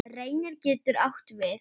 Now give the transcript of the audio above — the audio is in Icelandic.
Reynir getur átt við